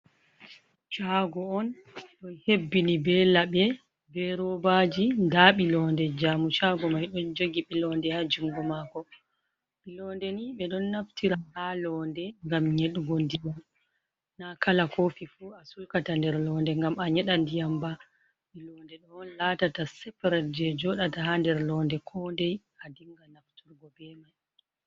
Chago on ɗo hebbini be laɓe be robaji, nda ɓi londe jaumu chago mai ɗon jogi bilonde ha jungo mako, ɓi londe ni ɓe ɗon naftira ha londe ngam nyeɗugo ndiyam na kala kofi fu a sulkata nder londe ngam a nyeɗan ndiyam ba, ɓi londe on latata separate je joɗata ha nder londe ko ndei a dinga nafturgo be mai.